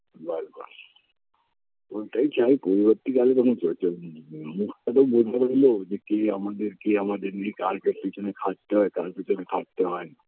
বারবার ওটাই চাই পরবর্তী কালে কোনো ঝুট ঝামেলা কে আমাদের কে আমাদের নেই কার পিছনে খাটতে হয় কার পিছনে খাটতে হয়না